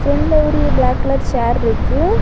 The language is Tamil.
பிரெண்ட்ல ஒரு பிளாக் கலர் சேர் இருக்கு.